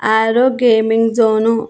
ఆరో gaming zone .